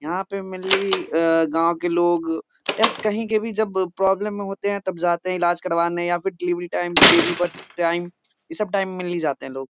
यहाँ पे मेन ले की अ गाँव के लोग एस कहीं के भी जब प्रॉब्लम में होते है तब जाते हैं इलाज करवाने या फिर डिलीवरी टाइम पे बेबी बर्थ टाइम इ सब टाइम मे ली जाते हैं लोग।